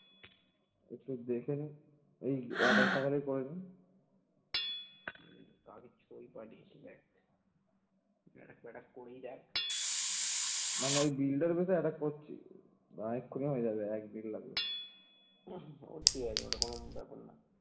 উম ও ঠিক আছে ওটা কোন ব্যাপার না ।